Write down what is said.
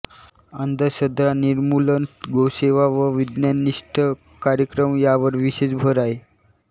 अंधश्रद्धा निर्मूलन गोसेवा व विज्ञाननिष्ठ कार्यक्रम यावर विशेष भर आहे